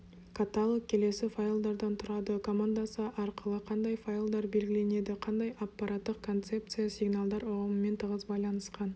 каталог келесі файлдардан тұрады командасы арқылы қандай файлдар белгіленеді қандай аппараттық концепция сигналдар ұғымымен тығыз байланысқан